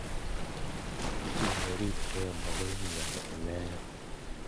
Chi neribekei makoi imnyan inekei.